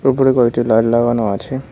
ওপর কয়টি লাইট লাগানো আছে।